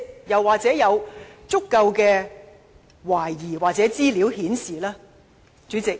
又或是否已有足夠的疑點或資料，顯示情況確實如此呢？